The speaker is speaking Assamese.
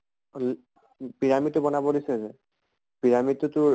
pyramid টো বনাব দিছে যে pyramid টো তোৰ